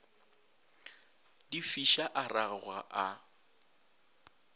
di fiša a ragoga a